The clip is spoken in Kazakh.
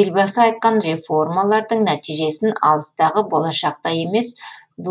елбасы айтқан реформалардың нәтижесін алыстағы болашақта емес